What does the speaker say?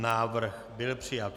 Návrh byl přijat.